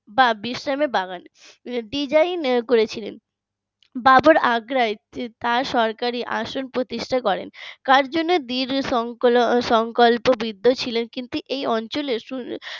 বা বিশ্রামের বাগান design করেছিলেন বাবর আগ্রায় তার সরকারি আসন প্রতিষ্ঠা করেন কার জন্য দৃঢ় সংকল্প বৃদ্ধ ছিলেন কিন্তু এই অঞ্চলের